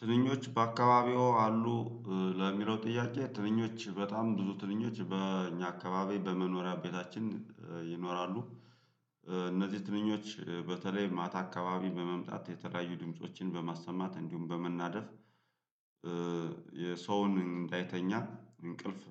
ትንኞች በአካባቢው አሉ ለሚለው ጥያቄ ትንኞች በጣም ብዙ ትንኞች በእኛ አካባቢ በመኖሪያ ቤታችን ይኖራሉ። እነዚህ ትንኞች በተለይ ማታ አካባቢ በመምጣት የተለያዩ ድምፆችን በማሰማት እንዲሁም በመናደፍ የሰውን እንዳይተኛ እንቅልፍ